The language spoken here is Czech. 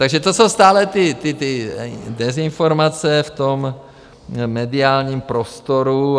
Takže to jsou stále ty dezinformace v tom mediálním prostoru.